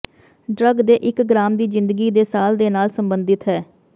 drug ਦੇ ਇਕ gram ਦੀ ਜ਼ਿੰਦਗੀ ਦੇ ਸਾਲ ਦੇ ਨਾਲ ਸੰਬੰਧਿਤ ਹੈ